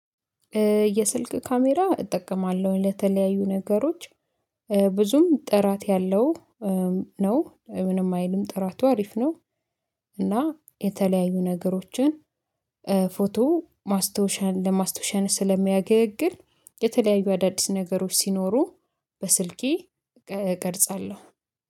የስልክ ካሜራ እጠቀማለሁ ለተለያዩ ነገሮች ብዙም ጥራት ያለው ነው ምንም አይልም ጥራቱ አሪፍ ነው። እና የተለያዩ ነገሮችን ፎቶ ማስታወሻን ለማስታወሻነት ስለሚያገለግል የተለያዩ አዳዲስ ነገሮች ሲኖሩ በስልኬ እቀርጻለሁ